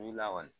N wilila kɔni